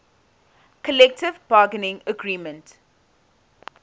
collective bargaining agreement